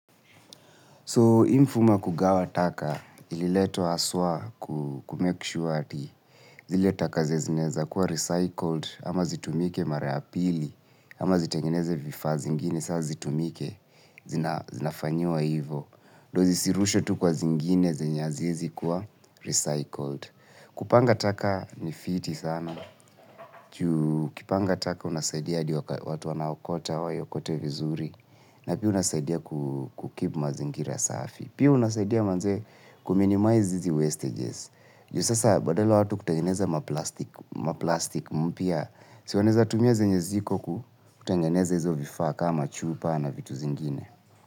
So, hii mfumo ya kugawa taka ililetwa aswa kumekishuwa ati. Zile taka zenye zinaeza kuwa recycled ama zitumike mara ya pili ama zitengeneze vifaa zingine. Sa zitumike zinafanyiwa hivo ndio zisirushwe tu kwa zingine zenye haziwezi kuwa recycled. Kupanga taka ni fiti sana juu. ukipanga taka unasaidia hadi watu wanaokota, waiokote vizuri. Na pia unasaidia kukeep mazingira safi. Pia unasaidia manze kuminimize hizi wastages. Juu sasa badala watu kutengeneza maplastic maplastik mpya si wanseza tumia zenye ziko kutengeneza hizo vifaa kama chupa na vitu zingine.